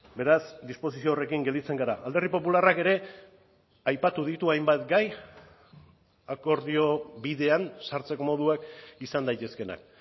beraz disposizio horrekin gelditzen gara alderdi popularrak ere aipatu ditu hainbat gai akordio bidean sartzeko moduak izan daitezkeenak